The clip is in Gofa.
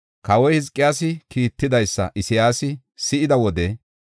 Kawoy Hizqiyaasi kiittidaysa Isayaasi si7ida wode,